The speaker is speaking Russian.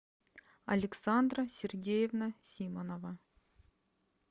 александра сергеевна симонова